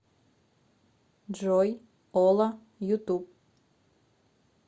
джой ола ютуб